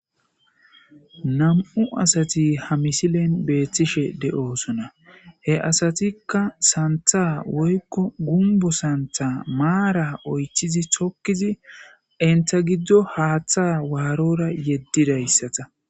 nam7u asati ha misilen beethtishe de7osona he asatikka santha woykko gumbo santha maara oychizi tokkizi inta giddo haaththa waarora yeddidayssata